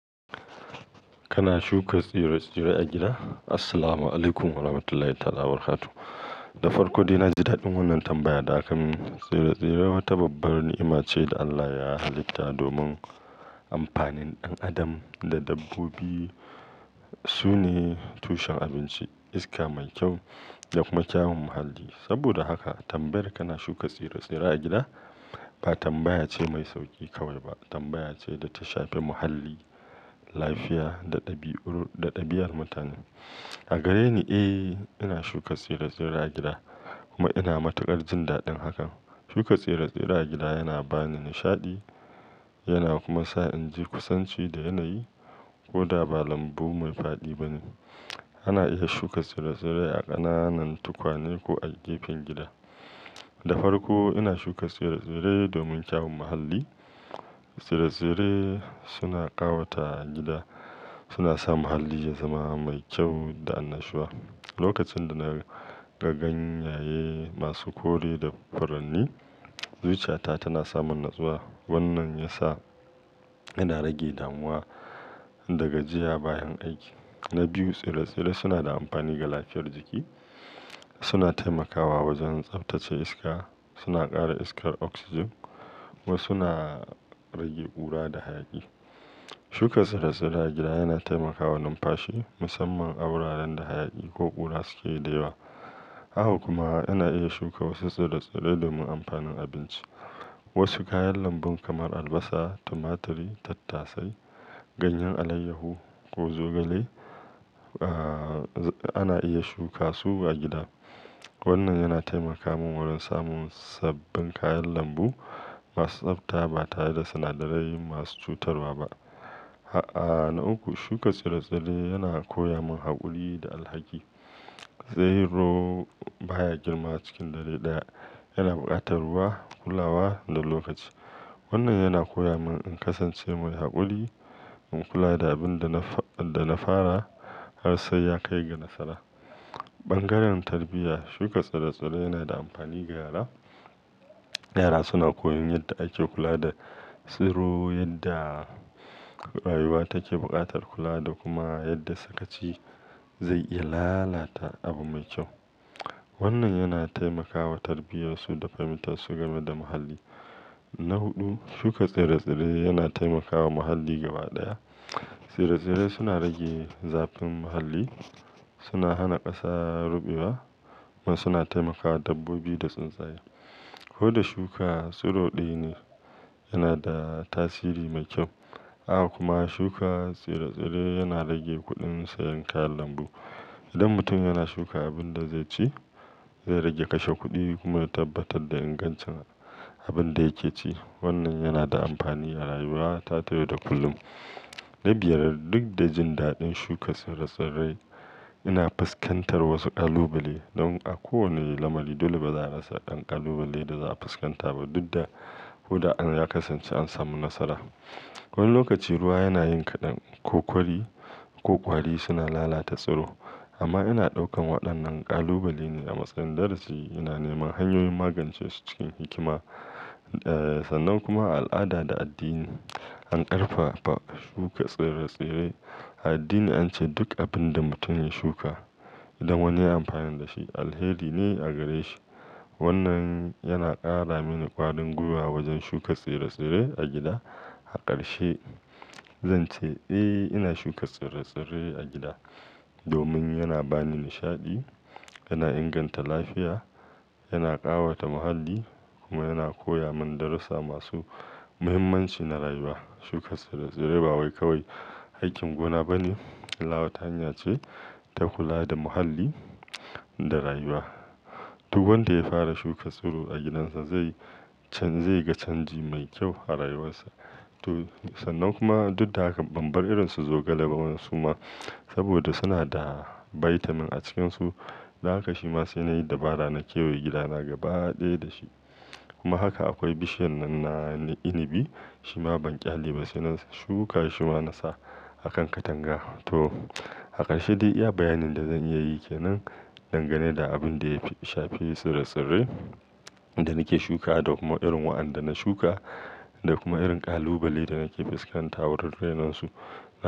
Kana shuka tsire-tsire a gida? Assalamu Alaikum warahmatullahi ta'ala wabarakatuh. Da farko, dai na jin daɗin wannan tambayar. Da aka mu tsire-tsire wata babbar ni'ima ce da Allah ya halitta domin amfanin ɗan adam da dabbobi. Su ne tushen abinci, iska mai kyau da kuma kyawun muhalli. Saboda haka tambayar "Kana shuka tsire-tsire a gida?" ba tambaya ce mai sauƙi kawai ba, tambaya ce da ta shafe muhalli, lafiya da ɗabi'u-- da ɗabi'ar mutane. A gare ni, eh, ina shuka tsire-tsire a gida kuma ina matukar jin daɗin hakan. Shuka tsire-tsire a gida yana bani nishaɗi, yana kuma sa in ji kusanci da yanayi. Ko da ba lambu mai faɗi bane, ana iya shuka tsire-tsire a ƙananan tukwane ko a gefen gida. Da farko, ina shuka tsire-tsire domin kyawun muhalli. Tsire-tsire suna ƙawata gida, suna sa muhalli ya zama mai kyau da annashuwa. Lokacin da na ga ganyaye masu kore da furanni, zuciyata tana samun natsuwa. Wannan ya sa ina rage damuwa daga jiya bayan aiki. Na biyu, tsire-tsire suna da amfani ga lafiyar jiki. Suna taimakawa wajen tsaftace iska, suna ƙara iskar oxygen kuma suna rage ƙura da hayaki. Shuka tsire-tsire a gida yana taimakawa numfashi, musamman a wuraren da hayaki ko ƙura suke da yawa. A haka kuma, ana iya shuka wasu tsire-tsire domin amfanin abinci. Wasu kayan lambu kamar albasa, tumaturi, tattasai, ganyen alayyahu ko zogale, ah, ana iya shuka su a gida. Wannan yana taimaka min wajen samun sabbin kayan lambu masu tsafta ba tare da sinadarai masu cutarwa ba. A'a, na uku, shuka tsire-tsire yana koya min haƙuri da alhaki. Tsiro baya girma cikin dare ɗaya. Yana buƙatar ruwa, kulawa da lokaci. Wannan yana koya min in kasance mai haƙuri, in kula da abin da na fa-- da na fara har sai ya kai ga nasara. Ɓangaren tarbiyya, shuka tsire-tsire yana da amfani ga yara. Yara suna koyon yadda ake kula da tsiro, yadda rayuwa take buƙatar kula da kuma yadda sakaci zai iya lalata abu mai kyau. Wannan yana taimakawa tarbiyyar su da fahimtar su game da muhalli. Na huɗu, shuka tsire-tsire yana taimakawa muhalli gaba ɗaya. Tsire-tsire suna rage zafin muhalli, suna hana ƙasa ruɓewa kuma suna taimakawa dabbobi da tsuntsaye. Ko da shuka tsiro ɗaya ne, yana da tasiri mai kyau. A haka kuma, shuka tsire-tsire yana rage kuɗin sayan kayan lambu. Idan mutum yana shuka abin da zai ci, zai rage kashe kuɗi kuma ya tabbatar da ingancin abin da yake ci. Wannan yana da amfani a rayuwa ta yau da kullum. Na biyar, duk da jin daɗin shuka tsire-tsire, ina fuskantar wasu ƙalubale. Don a kowane lamari dole baza'a rasa Ɗan ƙalubale da za'a fuskanta ba duk da ko da an ya kasance an samu nasara. Wani lokaci ruwa yana yin kaɗan ko ƙwari, ko ƙwari suna lalata tsiro. Amma ina ɗaukan waɗannan ƙalubale ne a matsayin darasi. Ina neman hanyoyin magance su cikin hikima. Eh, sannan kuma al'ada da addini. An ƙarfafa shuka tsire-tsire. A addini an ce duk abin da mutum ya shuka idan wani ya yi amfani da shi alheri ne a gare shi. Wannan yana ƙara mini ƙwarin gwiwa wajen shuka tsire-tsire a gida. A ƙarshe, zan ce eh, ina shuka tsire-tsire a gida domin yana bani nishaɗi, yana inganta lafiya, yana ƙawata muhalli kuma yana koya mun darussa masu muhimmanci na rayuwa. Shuka tsire-tsire ba wai kawai aikin gona ba ne. Allah wata hanya ce ta kula da muhalli da rayuwa. Duk wanda ya fara shuka tsiro a gidansa zai can-- zai ga canji mai kyau a rayuwarsa. To, sannan kuma duk da haka ban bar irin su zogale ba suma saboda suna da vitamin a cikinsu. Da haka shi ma sai nayi dabara na kewaye gida na gaba ɗaya dashi. Kuma haka akwai bishiyar nan na inabi. Shi ma ban ƙyale ba sai na shuka shi ma na sa a kan katanga. To, a ƙarshe dai iya, bayanin da zan iya yi kenan dangane da abin da ya shafe tsire-tsire da nake shuka da kuma irin waɗanda na shuka da kuma irin ƙalubale da nake fuskanta wurare nan su.